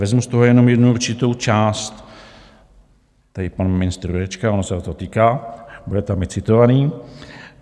Vezmu z toho jenom jednu určitou část, tady pan ministr Jurečka, ono se ho to týká, bude tam i citovaný.